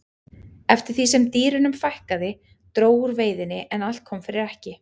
eftir því sem dýrunum fækkaði dró úr veiðinni en allt kom fyrir ekki